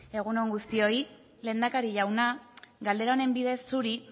egun on guztioi lehendakari jauna galdera honen bidez zuri